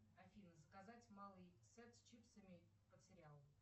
афина заказать малый сет с чипсами под сериал